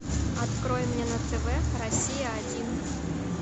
открой мне на тв россия один